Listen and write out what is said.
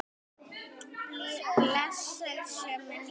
Blessuð sé minning hans!